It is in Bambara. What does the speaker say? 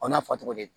O n'a fɔ cogo di